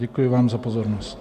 Děkuji vám za pozornost.